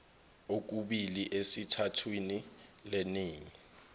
okubili esithathwini leningi